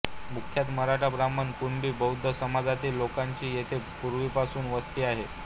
मुख्यतः मराठा ब्राह्मण कुणबी बौद्ध समाजातील लोकांची येथे पूर्वीपासून वस्ती आहे